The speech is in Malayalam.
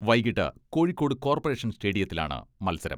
വൈകിട്ട് കോഴിക്കോട് കോർപ്പറേഷൻ സ്റ്റേഡിയത്തിലാണ് മത്സരം.